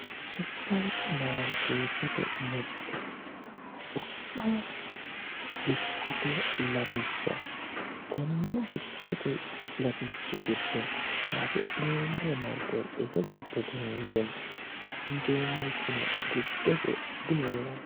Suoerimaariketete mirte wo'ma dikkote latishsha tene dikkote latishshi giddo hasi'neemmore hidhineemmo, hoongeemmorino giddose diheeranno